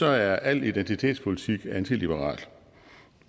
er al identitetspolitik antiliberalt